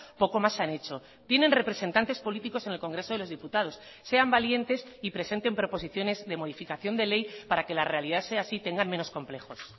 poco más han hecho tienen representantes políticos en el congreso de los diputados sean valientes y presenten proposiciones de modificación de ley para que la realidad sea así y tengan menos complejos